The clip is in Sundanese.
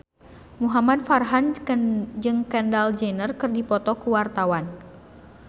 Muhamad Farhan jeung Kendall Jenner keur dipoto ku wartawan